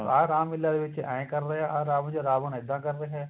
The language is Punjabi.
ਆਹ ਰਾਮ ਲੀਲਾ ਦੇ ਵਿੱਚ ਏ ਕਰ ਰਿਹਾ ਆ ਰਾਵਣ ਰਾਵਣ ਇੱਦਾ ਕ਼ਰ ਰਿਹਾ